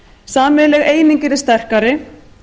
sameiginleg eining yrði sterkari